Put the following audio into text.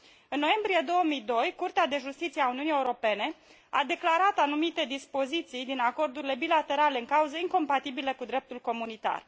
În noiembrie 2002, Curtea de Justiție a Uniunii Europene a declarat anumite dispoziții din acordurile bilaterale în cauză incompatibile cu dreptul comunitar.